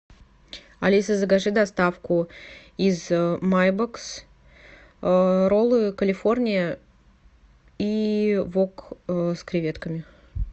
алиса закажи доставку из майбокс роллы калифорния и вок с креветками